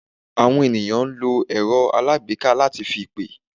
Àwọn ènìyàn n lo èrọ́ alágbèéká lá ti fi pè